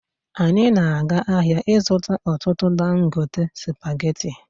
Anyị na-aga ahịa ịzụta ọtụtụ dangote spageti